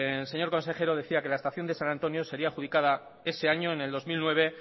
el señor consejero decía que la estación de san antonio sería adjudicada ese año en el dos mil nueve